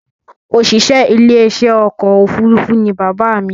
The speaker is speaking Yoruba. Òṣìṣẹ́ ilé iṣẹ́ ọkọ̀ òfurufú ní bàbá mi